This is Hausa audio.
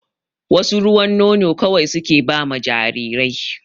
Wasu ruwan nono kawai suke ba ma jarirai